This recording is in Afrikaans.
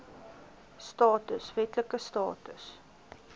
status wetlike status